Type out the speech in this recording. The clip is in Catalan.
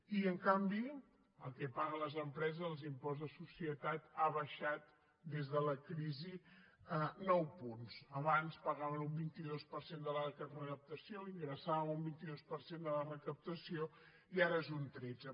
i en canvi el que paguen les empreses l’impost de societats ha baixat des de la crisi nou punts abans pagaven un vint dos per cent de la recaptació ingressaven un vint dos per cent de la recaptació i ara és un tretze